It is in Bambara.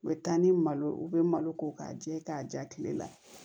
U bɛ taa ni malo u bɛ malo ko k'a jɛ k'a ja kile la